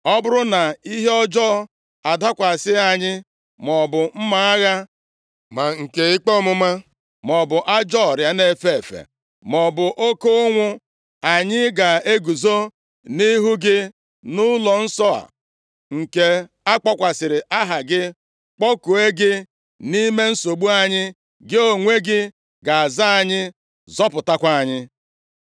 ‘Ọ bụrụ na ihe ọjọọ adakwasị anyị, maọbụ mma agha, ma nke ikpe ọmụma, maọbụ ajọọ ọrịa na-efe efe, maọbụ oke ụnwụ, anyị ga-eguzo nʼihu gị nʼụlọnsọ a nke a kpọkwasịrị Aha gị, kpọkuo gị nʼime nsogbu anyị, gị onwe gị ga-aza anyị, zọpụtakwa anyị.’